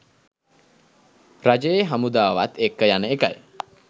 රජයේ හමුදාවත් එක්ක යන එකයි.